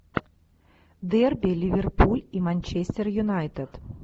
дерби ливерпуль и манчестер юнайтед